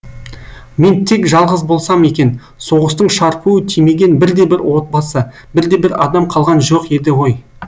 мен тек жалғыз болсам екен соғыстың шарпуы тимеген бірде бір отбасы бірде бір адам қалған жоқ еді ғой